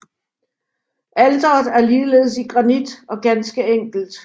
Alteret er ligeledes i granit og ganske enkelt